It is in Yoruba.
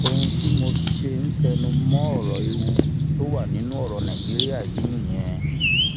ohun tí mo ṣe ń tẹnu mọ ọrọ ewu tó wà nínú ọrọ nàìjíríà yìí nìyẹn